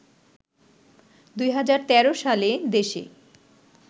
২০১৩ সালে দেশে